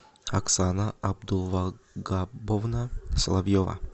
оксана абдулвагаповна соловьева